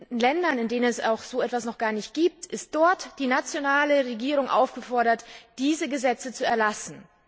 In Ländern, in denen es so etwas noch gar nicht gibt, ist die nationale Regierung aufgefordert, diese Gesetze zu erlassen.